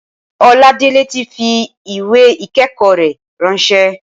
Oladele ti fi ìwé ìkẹ́kọ̀ọ́ rẹ̀ ráńṣẹ́.